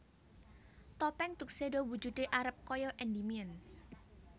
Topeng Tuxedo wujude arep kaya Endimion